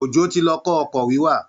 Ojó ti lọ kọ́ ọkọ̀ wíwà